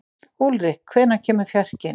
Úlrik, hvenær kemur fjarkinn?